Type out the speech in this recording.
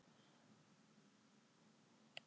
Ég fékk heimsókn í gær.